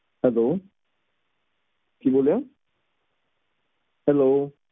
hello ਕਿ ਬੋਲਿਆ hello